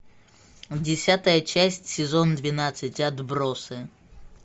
десятая часть сезон двенадцать отбросы